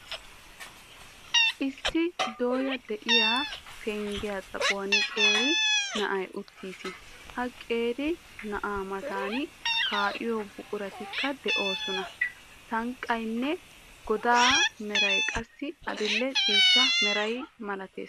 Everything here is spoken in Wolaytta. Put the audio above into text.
Issi dooya de'iya penggiya xaphon qeeri na'ay uttiis. Ha qeeri na'aa matan kaa'iyo buquratikka de'oosona. Sanqqaanne godaa meray qassi adil''e ciishsha meray malatees.